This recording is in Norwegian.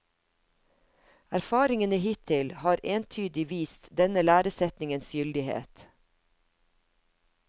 Erfaringene hittil har entydig vist denne læresetningens gyldighet.